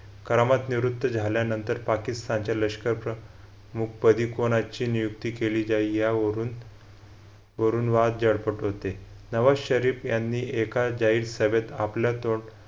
करामत निवृत्त झाल्यानंतर पाकिस्तानचे लष्कर प्रमुख पदी कोणाची नियुक्ती केली जाईल यावरून वरून वरून वाद होते नवाज शरीफ यांनी या जाहीर सभेत आपला